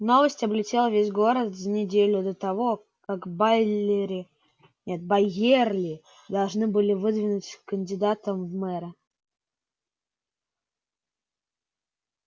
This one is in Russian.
новость облетела весь город за неделю до того как байлери нет байерли должны были выдвинуть кандидатом в мэры